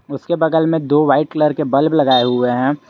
उसके बगल में दो वाइट कलर के बल्ब लगाए हुए हैं।